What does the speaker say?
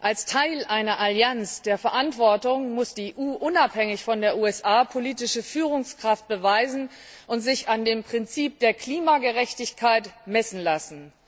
Als Teil einer Allianz der Verantwortung muss die EU unabhängig von den USA politische Führungskraft beweisen und sich an dem Prinzip der Klimagerechtigkeit messen lassen.